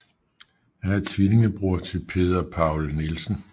Han er tvillingebror til Peder Pawel Nielsen